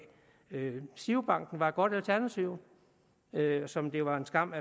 girobank var et godt alternativ som det var en skam